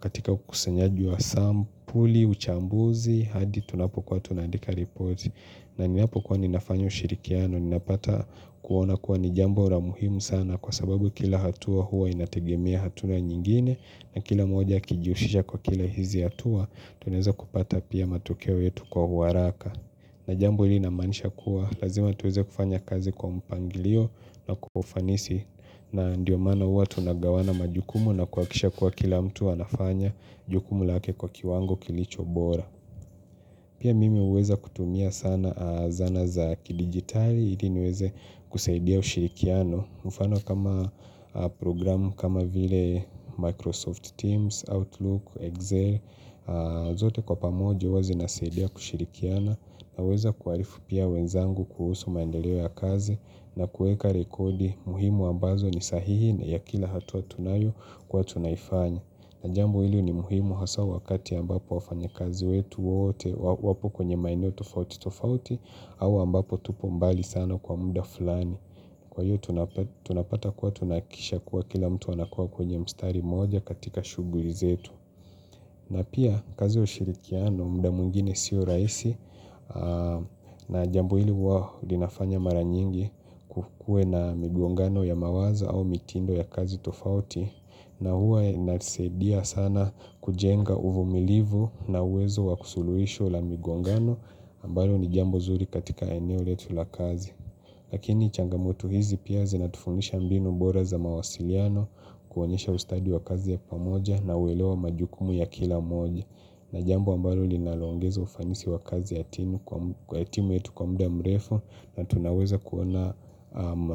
katika ukusanyaji wa sampuli, uchambuzi hadi tunapokuwa tunaandika ripoti na ninapokuwa ninafanya ushirikiano ninapata kuona kuwa ni jambo la muhimu sana kwa sababu kila hatua huwa inategemea hatua nyingine na kila mmoja akijihusisha kwa kila hizi hatua tunaweza kupata pia matokeo yetu kwa huaraka. Na jambo hili namaanisha kuwa lazima tuweze kufanya kazi kwa mpangilio na kwa ufanisi na ndio mana huwa tunagawana majukumu na kuhakikisha kuwa kila mtu anafanya jukumu lake kwa kiwango kilicho bora. Pia mimi huweza kutumia sana zana za kidigitali, ili niweze kusaidia ushirikiano, mfano kama programu kama vile Microsoft Teams, Outlook, Excel, zote kwa pamoja huwa zinasaidia kushirikiana, naweza kuhalifu pia wenzangu kuhusu maendeleo ya kazi na kuweka rekodi muhimu ambazo ni sahihi na ya kila hatua tunayo kuwa tunaifanya. Na jambo hili ni muhimu hasa wakati ambapo wafanya kazi wetu wote wapo kwenye maeneo tofauti tofauti au ambapo tupo mbali sana kwa muda fulani. Kwa hiyo tunapata kuwa tunahakikisha kuwa kila mtu anakua kwenye mstari moja katika shughuli zetu. Na pia kazi ya ushirikiano muda mwingine siyo rahisi na jambo hili huwa linafanya mara nyingi kuwe na migongano ya mawazo au mitindo ya kazi tofauti na huwa inasaidia sana kujenga uvumilivu na uwezo wakusuluhisho la migongano ambalo ni jambo zuri katika eneo letu la kazi. Lakini changamoto hizi pia zinatufundisha mbinu bora za mawasiliano kuonyesha ustadi wa kazi ya pamoja na uelewa majukumu ya kila mmoja. Najambo ambalo linaloongeza ufanisi wa kazi ya timu kwa timu yetu kwa muda mrefu na tunaweza kuona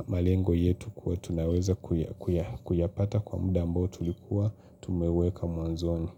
malengo yetu kuwa tunaweza kuyapata kwa muda ambao tulikuwa tumeweka mwanzoni.